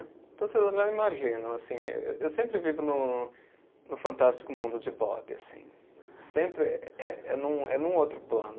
Então, vocês já imaginam, assim me, eu sempre vivo no no fantástico mundo de Bob, assim. Sempre eh, é num, é num outro plano.